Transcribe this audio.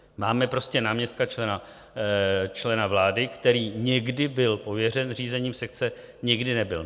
Máme prostě náměstka člena vlády, který někdy byl pověřen řízením sekce, někdy nebyl.